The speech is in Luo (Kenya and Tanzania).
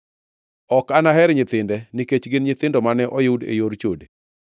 Ok anaher nyithinde, nikech gin nyithindo mane oyud e yor chode.